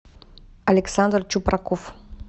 александр чупраков